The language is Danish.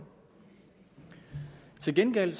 til gengæld